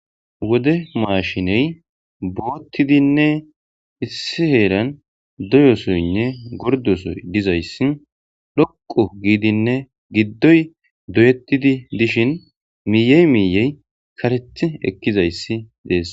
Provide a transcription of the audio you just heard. wode maashiney boottidinne issi heeran doyosoynne gordoso dizayssi loqu giidinne giddoy doyettidi dishin miiyey miiyey kareti ekkizayssi dees